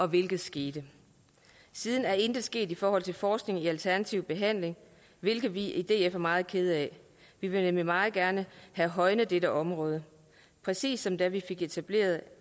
hvilket skete siden er intet sket i forhold til forskning i alternativ behandling hvilket vi i df er meget kede af vi vil nemlig meget gerne have højnet dette område præcis som da vi fik etableret